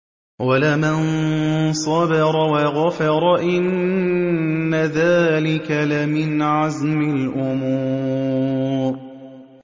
وَلَمَن صَبَرَ وَغَفَرَ إِنَّ ذَٰلِكَ لَمِنْ عَزْمِ الْأُمُورِ